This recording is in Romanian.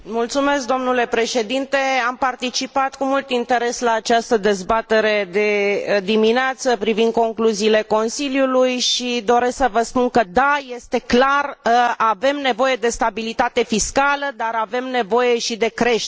Am participat cu mult interes la această dezbatere de dimineață privind concluziile Consiliului și doresc să vă spun că da, este clar, avem nevoie de stabilitate fiscală, dar avem nevoie și de creștere.